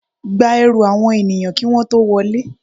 Gba ẹrù àwọn ènìyàn kí wọ́n tó wọlé.